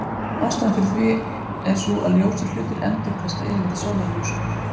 Ástæðan fyrir því er sú að ljósir hlutir endurkasta yfirleitt sólarljósinu.